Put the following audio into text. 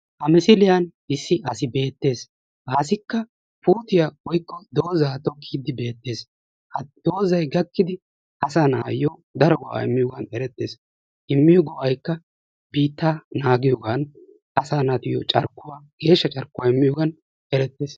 Ha misiliyan issi asi beettees ha asikka puutiya woykko dooza tokkiidi bettees. Ha doozay gakkidi asa nayo daro go'aa immiyogan erettees. Immiyo go'aykka biittaa naagiyogaan asa naatuyo carkkuwa geeshsha carkkuwa immiyogan erettees.